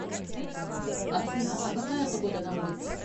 афина а какая погода на улице